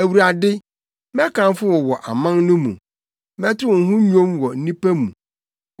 Awurade, mɛkamfo wo wɔ aman no mu; mɛto wo ho nnwom wɔ nnipa mu.